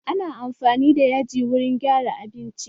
Ana amfani da yaji wurin gyara abinci.